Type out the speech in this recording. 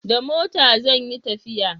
Da mota zan yi tafiya